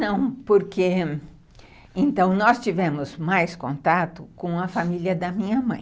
Não, porque... Então, nós tivemos mais contato com a família da minha mãe.